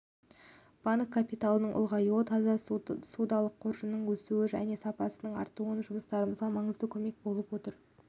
банк капиталының ұлғаюы таза ссудалық қоржынның өсуі мен сапасын арттыру жұмыстарымызға маңызды көмек болып отыр